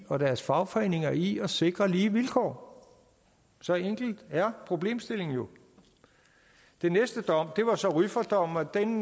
og deres fagforeninger i at sikre lige vilkår så enkel er problemstillingen jo den næste dom var så rüffertdommen og den